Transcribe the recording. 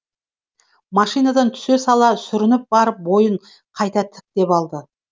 машинадан түсе сала сүрініп барып бойын қайта тіктеп алды